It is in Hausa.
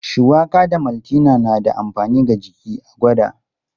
Shuwaka da maltina na da amfani ga jiki, a gwada.